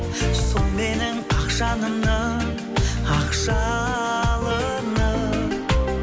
сол менің ақ жанымның ақ жалыны